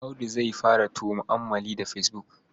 Audu zai fara tu'ammali da fesbuk.